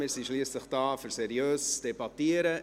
Wir sind schliesslich hier, um seriös zu debattieren.